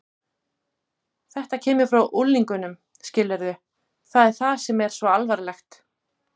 Þetta kemur frá unglingunum, skilurðu, það er það sem er svo alvarlegt.